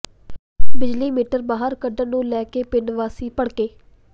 ਬਿਜਲੀ ਮੀਟਰ ਬਾਹਰ ਕੱਢਣ ਨੂੰ ਲੈ ਕੇ ਪਿੰਡ ਵਾਸੀ ਭੜਕੇ